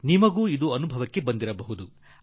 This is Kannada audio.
ಈ ತರನಾದ ಅನುಭವ ನಿಮಗೆಲ್ಲರಿಗೂ ಆಗುತ್ತಿರಬಹುದು